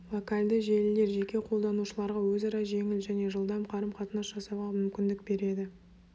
локальды желілер жеке қолданушыларға өзара жеңіл және жылдам қарым-қатынас жасауға мүмкіндік береді